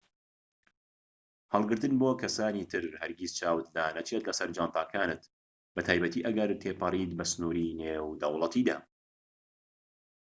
هەڵگرتن بۆ کەسانی تر هەرگیز چاوت لانەچێت لەسەر جانتاکانت بەتایبەتی ئەگەر تێپەڕیت بە سنوری نێودەوڵەتیدا